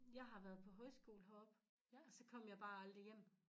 Jeg har været på højskole heroppe og så kom jeg bare aldrig hjem